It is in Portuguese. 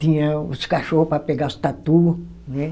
Tinha os cachorro para pegar os tatu, né?